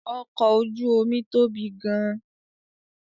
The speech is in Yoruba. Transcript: Ọkọ̀ ojú omi tóbi gan-an